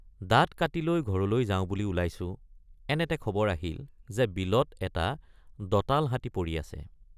দাঁত কাটি লৈ ঘৰলৈ যাওঁ বুলি ওলাইছোঁ এনেতে খবৰ আহিল যে বিলত এটা দঁতাল হাতী পৰি আছে।